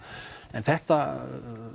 en þetta